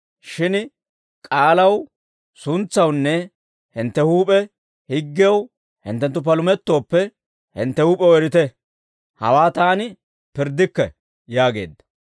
Shin k'aalaw suntsawunne hintte huup'e higgiyaw hinttenttu palumettooppe, hintte huup'ew erite; hawaa taani pirddikke» yaageedda.